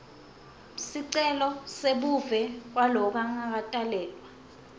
sicelo sebuve kwalongakatalelwa